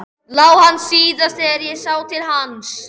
LÁ HANN SÍÐAST ÞEGAR ÉG SÁ TIL HANS.